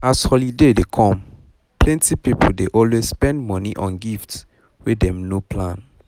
as holiday dey come plenty people dey always spend money on gifts wey dem no plan